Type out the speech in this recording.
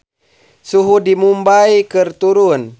Suhu di Mumbay keur turun